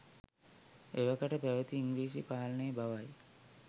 එවකට පැවති ඉංග්‍රීසි පාලනය බව යි.